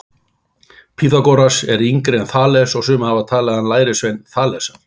Pýþagóras var yngri en Þales og sumir hafa talið hann vera lærisvein Þalesar.